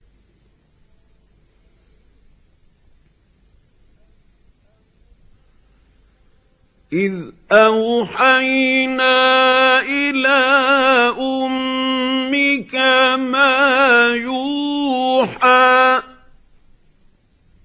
إِذْ أَوْحَيْنَا إِلَىٰ أُمِّكَ مَا يُوحَىٰ